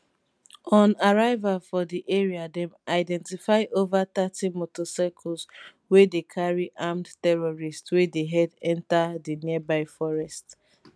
on arrival for di area dem identify over thirty motorcycles wey dey carry armed terrorists wey dey head enta di nearby forest